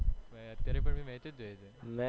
મૈ અત્યારે પણ match જોઈએ છે